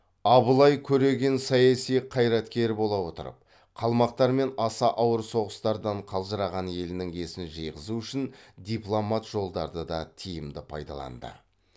абылай көреген саяси қайраткер бола отырып қалмақтармен аса ауыр соғыстардан қалжыраған елінің есін жиғызу үшін дипломат жолдарды да тиімді пайдалаңды